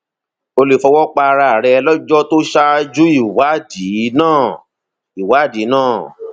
o lè fọwọ pa ara rẹ lọjọ tó ṣáájú ìwádìí náà ìwádìí náà